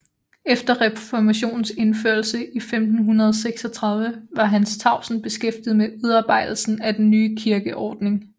Efter reformationens indførelse i 1536 var Hans Tausen beskæftiget med udarbejdelsen af den nye kirkeordning